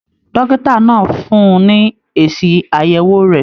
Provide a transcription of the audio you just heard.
Dókítà náà fún ní èsì ayẹwo rẹ.